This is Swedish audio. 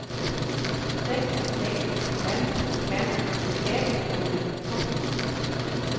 sex sex fem fem sjuttioett femhundrasjutton